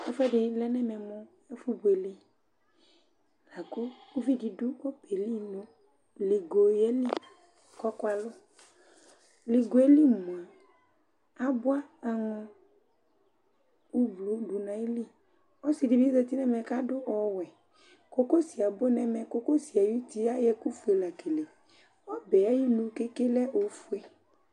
Ɛfʋɛdɩ lɛ nɛmɛ mʋ ɛfʋ buele; akʋ uvi di dʋ ɔbɛɛ li nʋ ligo yɛ li kɔkʋa lʋLigoe li mʋa, abʋa aŋɔ kʋ blu dʋ ayiliƆsɩ dɩ bɩ zati nɛmɛ ka dʋ ɔwɛKokosi abʋ nɛmɛ, kokosi ayʋ uti ayɔ ɛkʋ fue la keleƆbɛ ayinu keke lɛ ofue